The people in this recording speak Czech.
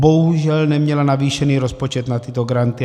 Bohužel neměla navýšený rozpočet na tyto granty.